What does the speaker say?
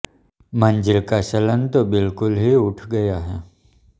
मंजीठ का चलन तो बिलकुल ही उठ गया है